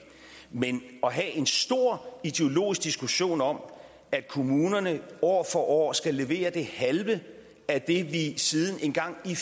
men at have en stor ideologisk diskussion om at kommunerne år for år skal levere det halve af det vi siden engang i